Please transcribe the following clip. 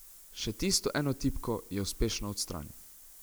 Še tisto eno tipko je uspešno odstranil.